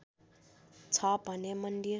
छ भने मन्दिर